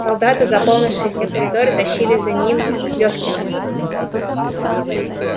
солдаты заполнившие все коридоры тащили за ним лёфкина